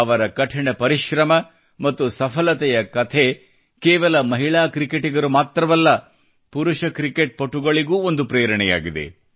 ಅವರ ಕಠಿಣ ಪರಿಶ್ರಮ ಮತ್ತು ಸಫಲತೆಯ ಕಥೆ ಕೇವಲ ಮಹಿಳಾ ಕ್ರಿಕೆಟಿಗರು ಮಾತ್ರವಲ್ಲ ಪುರುಷ ಕ್ರಿಕೆಟ್ ಪಟುಗಳಿಗೂ ಒಂದು ಪ್ರೇರಣೆಯಾಗಿದೆ